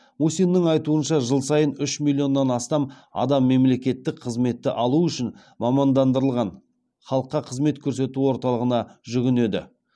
мусиннің айтуынша жыл сайын үш миллионнан астам адам мемлекеттік қызметті алу үшін мамандандырылған халыққа қызмет көрсету орталығына жүгінеді